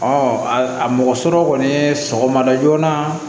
a mɔgɔ sɔrɔ kɔni sɔgɔma da joona